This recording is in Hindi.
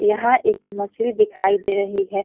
यहाँ एक मछली दिखाई दे रही है।